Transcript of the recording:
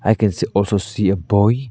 I can see also see a boy.